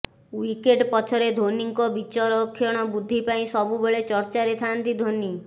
wicket ପଛରେ ଧୋନୀଙ୍କ ବିଚକ୍ଷଣ ବୁଦ୍ଧି ପାଇଁ ସବୁବେଳେ ଚର୍ଚ୍ଚାରେ ଥାନ୍ତି ଧୋନି